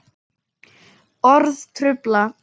Orð trufla.